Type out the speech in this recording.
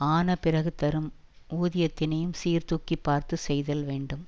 ஆனபிறகு தரும் ஊதியத்தினையும் சீர்தூக்கிப் பார்த்து செய்தல் வேண்டும்